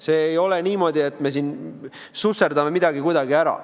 See ei ole niimoodi, et me siin susserdame midagi kuidagi ära.